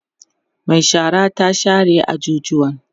Mai shara ta share ajujuwan